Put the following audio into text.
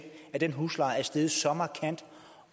at den husleje er steget så markant